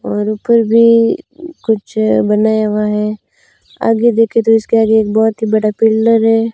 और ऊपर भीं कुछ बनाया हुवा है कौन आगे देखें तो इसके आगे एक बहोत ही बड़ा पिलर हैं।